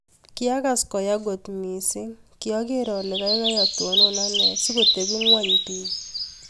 Kiakas koyaa kot mising. kiager alee kaikai atonon anee sikotepii ngony piik